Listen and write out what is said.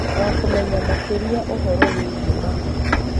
wa kũmenya makĩria ũhoro wĩgiĩ mahu.